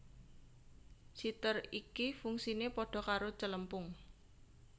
Siter iki fungsine pada karo Celempung